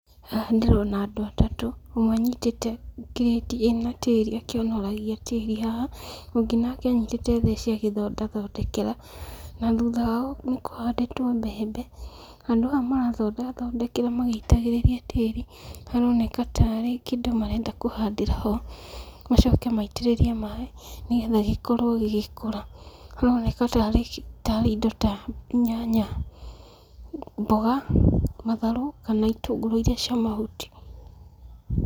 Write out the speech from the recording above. Haha ndĩrona andũ atatũ, ũmwe anyitĩte kĩrĩti ĩna tĩri akĩonoragia tĩri haha, ũngĩ nake anyitĩte theci agĩthonda thondekera na thutha wao nĩkũhandĩtwo mbembe. Handũ haha marathonde thondekera magĩitagĩrĩria tĩri, haroneka ta arĩ kĩndũ marenda kũhandĩra ho, macoke maitĩrĩrie maaĩ, nĩgetha gĩkorwo gĩgĩkũra. Haroneka ta arĩ indo ta: nyanya, mboga, matharũ, kana itũngũrũ iria cia mahuti.